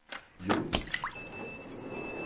Hjort